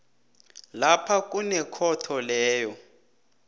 lapha kunekhotho leyo